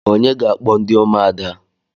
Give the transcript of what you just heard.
Onye ga-akpọ ndị ụmụada?